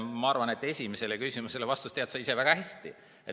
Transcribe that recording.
Ma arvan, et vastust esimesele küsimusele tead sa ise väga hästi.